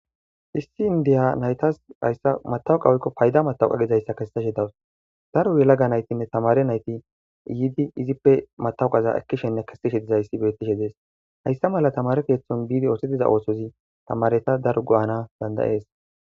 Issi indiya naytas hayssa matawuqa woykko payda matawqa gizayssa kesseshe dawus. daru yelaga naytinne tamare nayti yiidi izippe matawuqaza ekkishenne kessishe dizayssi bettishe dees. hayssa mala tamare keeththon biidi oosettiza oosozi tamareta dar go'ana dandayees.